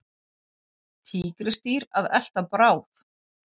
Tígrisdýr að elta bráð.